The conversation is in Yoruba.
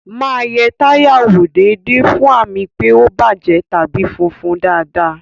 Máa yẹ táyà wò déédéé fún àmì pé ó bàjẹ́ tàbí fúnfun dáadáa